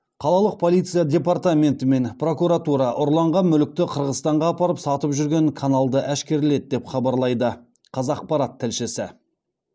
қалалық полиция департаменті мен прокуратура ұрланған мүлікті қырғызстанға апарып сатып жүрген каналды әшкереледі деп хабарлайды қазақпарат тілшісі